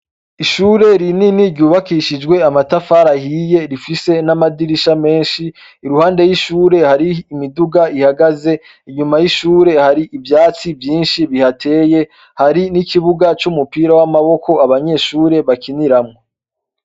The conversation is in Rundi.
ishure rinini ryubakishijwe amatafari ahiye rifise n'amadirisha menshi iruhande y'ishure hari imiduga ihagaze inyuma y'ishure hari ibyatsi byinshi bihateye hari n'ikibuga cy'umupira w'amaboko abanyeshure bakiniramwo